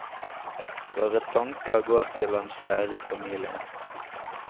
Våre tanker går til hans kjære familie.